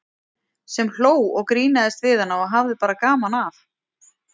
Sem hló og grínaðist við hana og hafði bara gaman af.